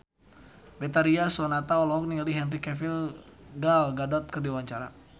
Betharia Sonata olohok ningali Henry Cavill Gal Gadot keur diwawancara